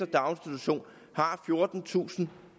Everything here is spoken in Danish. daginstitution har fjortentusinde og